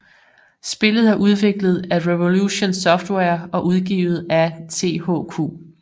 Spillet er udviklet af Revolution Software og udgivet af THQ